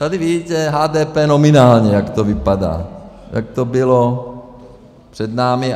Tady vidíte HDP nominálně, jak to vypadá , jak to bylo před námi.